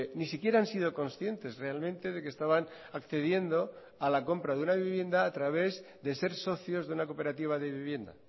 ni siquiera han sido conscientes realmente de que estaban accediendo a la compra de una vivienda a través de ser socios de una cooperativa de vivienda